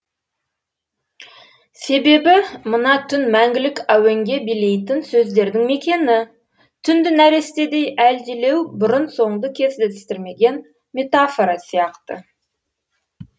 себебі мына түн мәңгілік әуенге билейтін сөздердің мекені түнді нәрестедей әлдилеу бұрын соңды кездестірмеген метафора сияқты